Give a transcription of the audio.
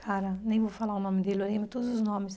Cara, nem vou falar o nome dele, eu lembro todos os nomes.